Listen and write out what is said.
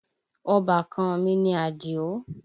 Ọbàkan an mi ni Àdìó